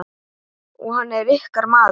Og hann er ykkar maður.